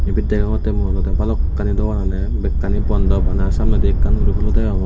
ebet degongote mui olode balokani dogan agey bekkani bondo bana samneindi ekkan guri hulo degongor.